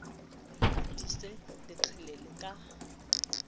a tiise le qhelele ka